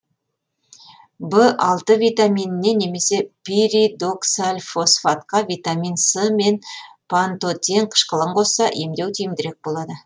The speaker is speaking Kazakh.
в алты витаминіне немесе пиридоксальфосфатқа витамин с мен пантотен қышқылын қосса емдеу тиімдірек болады